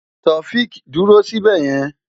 Taofiq dúró síbẹ̀ yẹn!